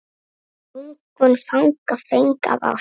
Lungun fanga feng af ást.